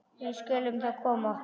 Við skulum þá koma okkur.